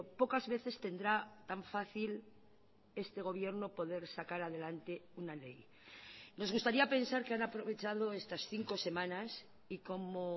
pocas veces tendrá tan fácil esté gobierno poder sacar adelante una ley nos gustaría pensar que han aprovechado estas cinco semanas y como